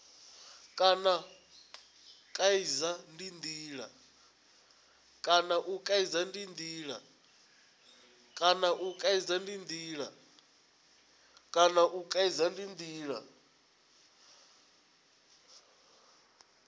kana u kaidza ndi ndila